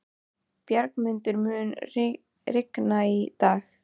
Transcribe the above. Bjargmundur, mun rigna í dag?